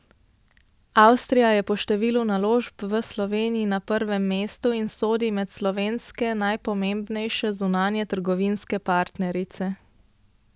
Avstrija je po številu naložb v Sloveniji na prvem mestu in sodi med slovenske najpomembnejše zunanjetrgovinske partnerice.